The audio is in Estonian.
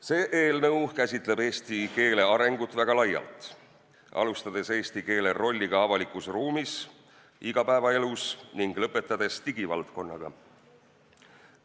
See eelnõu käsitleb eesti keele arengut väga laialt, alustades eesti keele rollist avalikus ruumis, igapäevaelus ning lõpetades digivaldkonnaga.